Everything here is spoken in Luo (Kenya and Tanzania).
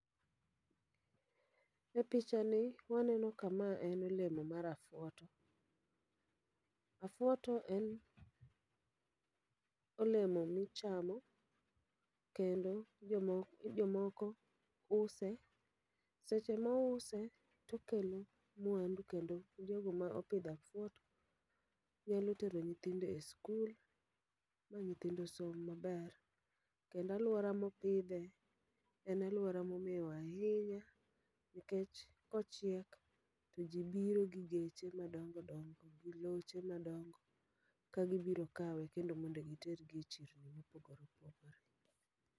E picha ni, waneno ka ma en olemo mar afuoto. Afuoto en olemo michamo, kendo jomok jomoko use, seche mouse tokelo mwandu. Kendo jogo mopidho afuoto, nyalo tero nyithindo e skul, ma nyithindo som maber. Kendo alwora mopidhe, en alwora momewo ahinya. Nikech kochiek, to ji biro gi geche ma dongo dongo gi loche ma dongo. Ka gibiro kawe kendo mondo gitere e chirni mopogore opogore.